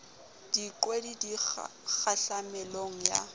diqwedi di be kgahlamelong ya